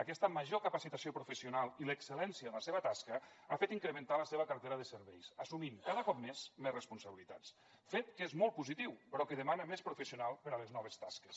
aquesta major capacitació professional i l’excel·lència en la seva tasca ha fet incrementar la seva cartera de serveis assumint cada cop més més responsabilitats fet que és molt positiu però que demana més professionals per a les noves tasques